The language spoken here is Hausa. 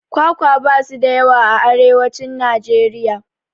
Kwakwa basu da yawa a arewacin Najeriya